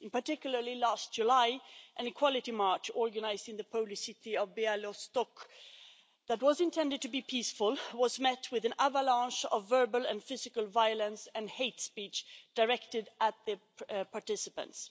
Particularly last July an equality march organised in the Polish city of Białystok that was intended to be peaceful was met with an avalanche of verbal and physical violence and hate speech directed at the participants.